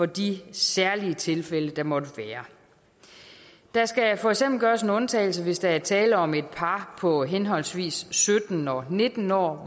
de særlige tilfælde der måtte være der skal for eksempel gøres en undtagelse hvis der er tale om et par på henholdsvis sytten og nitten år